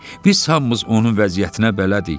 Biz hamımız onun vəziyyətinə bələdik.